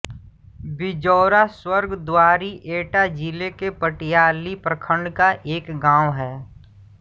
बिजौरा स्वर्ग द्वारी एटा जिले के पटियाली प्रखण्ड का एक गाँव है